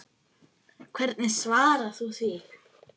Hvernig svarar þú því?